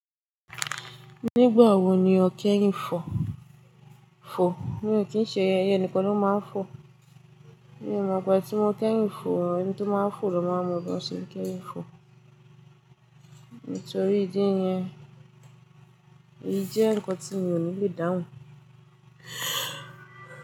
Nígbà wo ni o kẹ́yìn fò? Fò? Mi ò kí ń ṣe, ẹyẹ nìkan ló máa ń fò. Mi ò mọ̀, gbà tí mo kẹ́yìn fò, ẹni tí ó máa ń fò ló máa mọ bí wọ́n ṣe ń kẹ́yìn fò. Nítorí ìdí yẹn, ìjẹ́ ǹkan tí mi ò ní lè dáhùn.